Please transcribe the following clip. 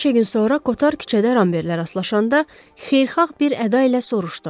Bir neçə gün sonra Kotar küçədə Ramberglə rastlaşanda xeyirxah bir əda ilə soruşdu.